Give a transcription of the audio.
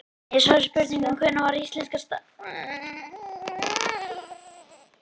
Í svari við spurningunni Hvenær var íslenska stafrófinu breytt?